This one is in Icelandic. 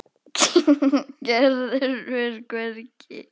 Gerður fer hvergi.